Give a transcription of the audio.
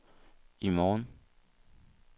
i morgen